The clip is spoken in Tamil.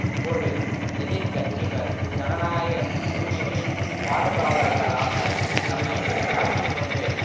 இப்போது எதிர் கட்சிகள் ஜனநாயக உரிமைகளின் பாதுகாவலர்களாக தம்மை காட்டி கொண்டு